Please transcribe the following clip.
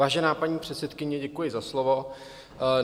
Vážená paní předsedkyně, děkuji za slovo.